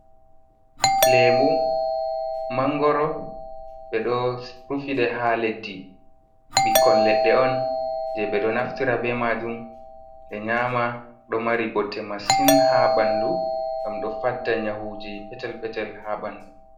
Leemu ,manngoro ,ɓe ɗo rufiɗe haa leddi, ɓikkon leɗɗe on jey ɓe ɗo naftora be maajum ɓe nyaama .Ɗo mari bote masin haa ɓanndu ngam ɗo fadda nyawuji petel-petel haa ɓanndu.